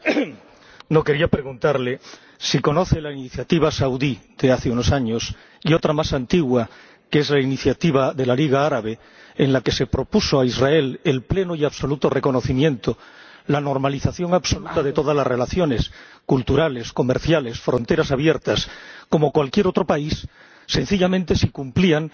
Señor Le Hyaric, quería preguntarle si conoce la iniciativa saudí de hace unos años, y otra más antigua, que es la iniciativa de la Liga Árabe, en la que se propuso a Israel el pleno y absoluto reconocimiento, la normalización absoluta de todas las relaciones culturales, comerciales, fronteras abiertas, como cualquier otro país, sencillamente si cumplían